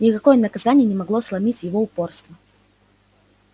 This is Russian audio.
никакое наказание не могло сломить его упорство